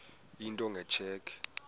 into nge tsheki